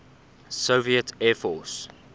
soviet air force